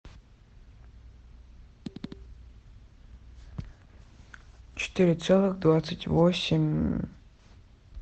четыре целых двадцать восемь